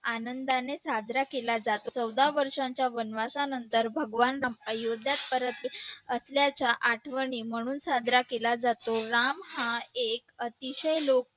आनंदाने साजरा केला जातो चौदा वर्षांच्या वनवासानंतर भगवान राम अयोध्यात परतले असल्याच्या आठवणी म्हणून साजरा केला जातो राम हा एक अतिशय लोक